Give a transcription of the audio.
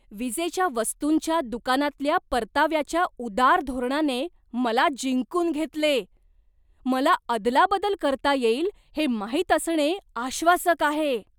विजेच्या वस्तूंच्या दुकानातल्या परताव्याच्या उदार धोरणाने मला जिंकून घेतले, मला अदलाबदल करता येईल हे माहित असणे आश्वासक आहे.